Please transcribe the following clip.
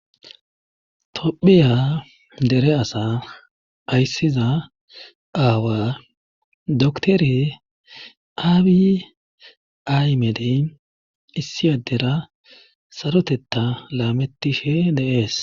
tophiya dere asa ayssiza aawa doktore aabi aymedey issi addera sarotetta laametishe dees